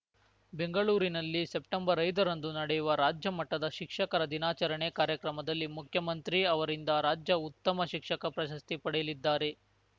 ಬೆಂಗಳೂರಿನಲ್ಲಿ ಸೆಪ್ಟೆಂಬರ್ಐದರಂದು ನಡೆಯುವ ರಾಜ್ಯ ಮಟ್ಟದ ಶಿಕ್ಷಕರ ದಿನಾಚರಣೆ ಕಾರ್ಯಕ್ರಮದಲ್ಲಿ ಮುಖ್ಯಮಂತ್ರಿ ಅವರಿಂದ ರಾಜ್ಯ ಉತ್ತಮ ಶಿಕ್ಷಕ ಪ್ರಶಸ್ತಿ ಪಡೆಯಲಿದ್ದಾರೆ